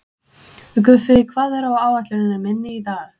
Guffi, hvað er á áætluninni minni í dag?